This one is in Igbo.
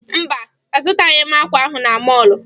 Mba, azụtaghị m akwa ahụ na mọọlụ